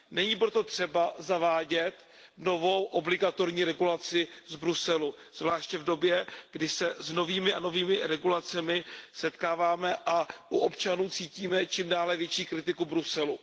Není proto třeba zavádět novou obligatorní regulaci z Bruselu, zvláště v době, kdy se s novými a novými regulacemi setkáváme a u občanů cítíme čím dále větší kritiku Bruselu.